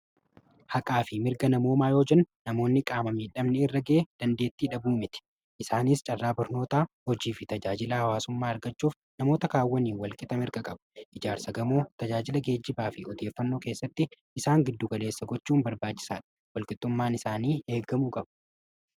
Haqaa fi mirga namoommaa yoo jennu namoonni qaama midhamaa irra gahe dandeettii dhabuu miti. Isa kaanis carraa barnootaa tajaajila hawaasaa argachuuf mirga namoota kaawwaniin walqixa qabu. ijaarsa qamoo, tajaajila geejjibaa fi odeeffannoo keessatti isaan giddu galeessa gochuun barbaachisaadha. Walqixummaan isaanii eegamuu qaba.